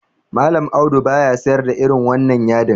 Mallam Audu baya sayar da irin wannan yadin.